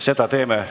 Seda ka teeme.